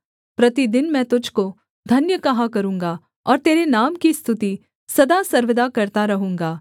प्रतिदिन मैं तुझको धन्य कहा करूँगा और तेरे नाम की स्तुति सदा सर्वदा करता रहूँगा